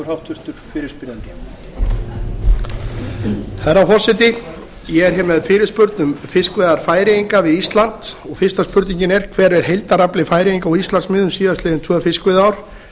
herra forseti ég er hér með fyrirspurn um fiskveiðar færeyinga við ísland og fyrsta spurningin er hver er heildarafli færeyinga á íslandsmiðum síðastliðin tvö fiskveiðiár